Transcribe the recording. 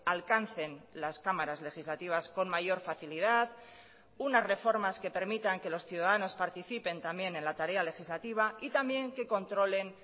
alcancen las cámaras legislativas con mayor facilidad unas reformas que permitan que los ciudadanos participen también en la tarea legislativa y también que controlen